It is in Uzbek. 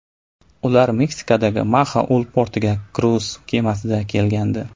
Ular Meksikadagi Maxaul portiga kruiz kemasida kelgandi.